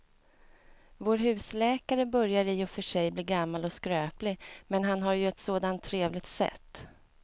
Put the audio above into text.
Vår husläkare börjar i och för sig bli gammal och skröplig, men han har ju ett sådant trevligt sätt!